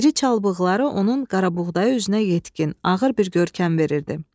İri çal bığları onun qarabuğdayı üzünə yetkin, ağır bir görkəm verirdi.